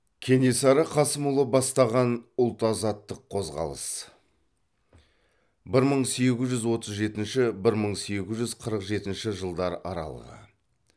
кенесары қасымұлы бастаған ұлт азаттық қозғалыс